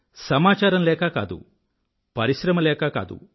సమాచారం లేక కాదు పరిశ్రమ లేకా కాదు